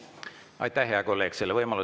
Aitäh, hea kolleeg!